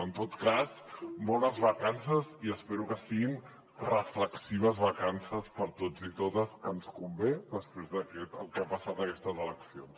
en tot cas bones vacances i espero que siguin reflexives vacances per a tots i totes que ens convé després del que ha passat aquestes eleccions